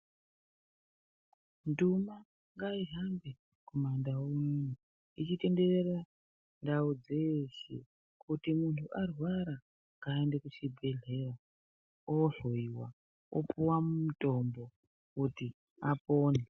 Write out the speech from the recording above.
Ndumwa ngaihambe kumandau echitenderera ndau dzeeshe kuti munhu arwara ngaaende kuchibhehlera ohloyiwa opuwa mutombo kuti apore